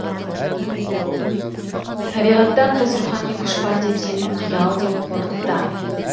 табиғаттан тыс рухани күш бар деп сену қиял деп қорытты